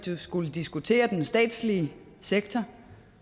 vi skulle diskutere den statslige sektor